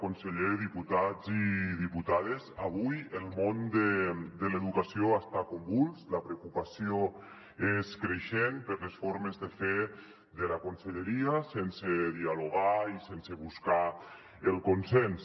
conseller diputats i diputades avui el món de l’educació està convuls la preocupació és creixent per les formes de fer de la conselleria sen·se dialogar i sense buscar el consens